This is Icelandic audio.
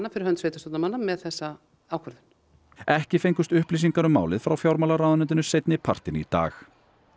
fyrir hönd sveitarstjórnarmanna með þessa ákvörðun ekki fengust upplýsingar um málið frá fjármálaráðuneytinu seinni partinn í dag